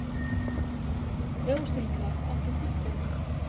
Rósinkar, áttu tyggjó?